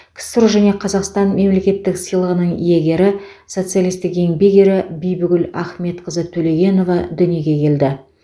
ксро және қазақстан мемлекеттік сыйлығының иегері социалистік еңбек ері бибігүл ахметқызы төлегенова дүниеге келді